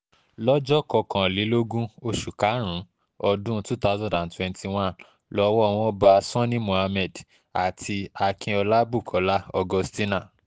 lọ́jọ́ kọkànlélógún oṣù karùn-ún ọdún two thousand and twenty one lowó wọn bá sani mohammed àti akinlọla bukola augustina